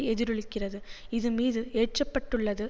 எதிரொலிக்கிறது இது மீது ஏற்றப்பட்டுள்ளது